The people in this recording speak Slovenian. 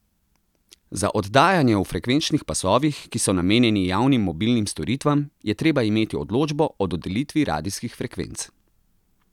Za oddajanje v frekvenčnih pasovih, ki so namenjeni javnim mobilnim storitvam, je treba imeti odločbo o dodelitvi radijskih frekvenc.